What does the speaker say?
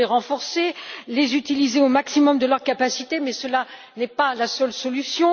Il faut les renforcer et les utiliser au maximum de leur capacité, mais ce n'est pas la seule solution